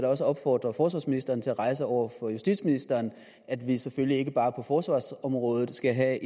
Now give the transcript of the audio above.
også opfordre forsvarsministeren til at rejse over for justitsministeren at vi selvfølgelig ikke bare på forsvarsområdet skal have